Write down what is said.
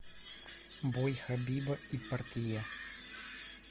бой хабиба и порье